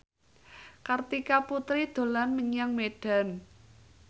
Kartika Putri dolan menyang Medan